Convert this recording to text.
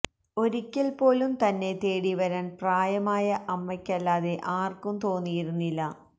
ഒരിയ്ക്കൽ പോലും തന്നെ തേടി വരാൻ പ്രായമായ അമ്മയ്ക്കല്ലാതെ ആർക്കും തോന്നിയിരുന്നില്ല